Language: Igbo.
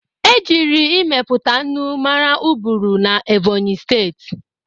E jiri ịmepụta ńnù maara Uburu na Ẹ́bọ̀nyị̀ Steeti.